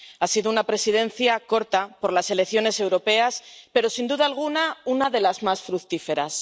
Ha sido una Presidencia corta, por las elecciones europeas, pero, sin duda alguna, una de las más fructíferas.